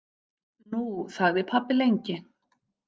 Nú þagði pabbi lengi.